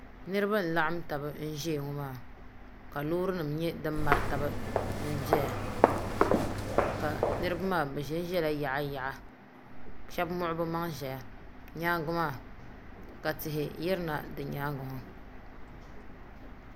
Niraba n laɣam tabi n ʒɛya ŋɔ maa ka loori nim nyɛ din mari tabi n doya ka niraba maa bi ʒɛnʒɛla yaɣa yaɣa shab muɣu bi maŋa ʒɛya nyaangi maa ka tihi yirina nyaangi maa